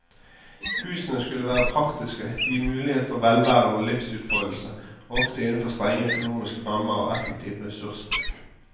Husene skulle være praktiske, gi mulighet for velvære og livsutfoldelse, ofte innenfor strenge økonomiske rammer og effektiv ressursbruk.